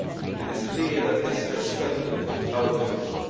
It is clear that this has strengthened our position.